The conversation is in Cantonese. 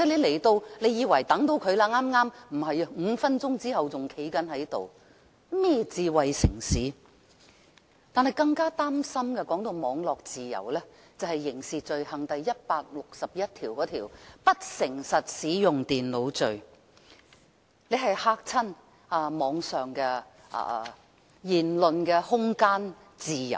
談到網絡自由，更加使人擔心的便是《刑事罪行條例》第161條，有關不誠實使用電腦罪的這一條條款，窒礙了網絡上的言論空間和自由。